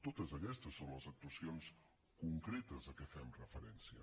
totes aquestes són les actuacions concretes a què fem referència